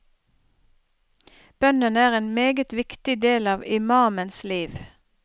Bønnen er en meget viktig del av imamens liv.